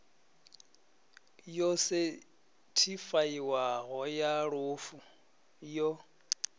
yo sethifaiwaho ya lufu yo